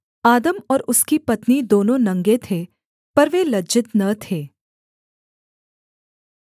आदम और उसकी पत्नी दोनों नंगे थे पर वे लज्जित न थे